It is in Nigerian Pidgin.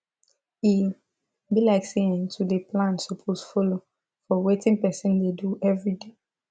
e be like say[um]to dey plan suppose follow for wetin person dey do everyday